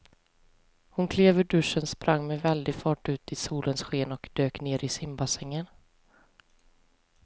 Hon klev ur duschen, sprang med väldig fart ut i solens sken och dök ner i simbassängen.